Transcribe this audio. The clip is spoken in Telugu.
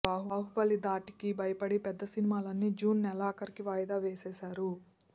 బాహుబలి ధాటికి భయపడి పెద్ద సినిమాలన్నీ జూన్ నెలాఖరుకి వాయిదా వేసేసారు